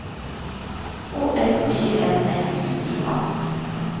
O S Y N L I G A